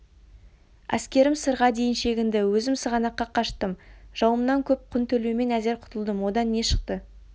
әскерім сырға дейін шегінді өзім сығанаққа қаштым жауымнан көп құн төлеумен әзер құтылдым одан не шықты